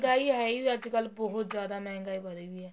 ਮਹਿੰਗਾਈ ਹੈ ਹੀ ਅੱਜਕਲ ਬਹੁਤ ਜਿਆਦਾ ਮਹਿੰਗਾਈ ਵਧੀ ਪਈ ਹੈ